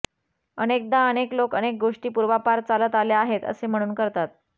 अनेकदा अनेक लोक अनेक गोष्टि पुर्वापार चालत आल्या आहेत असे म्हणुन करतात